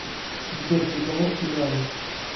сбер приговор кизару